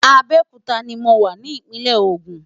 Abeokuta ni mo wà ní ìpínlẹ̀ ogun.